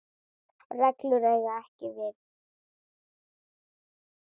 reglur eiga ekki við.